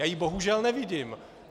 Já ji bohužel nevidím.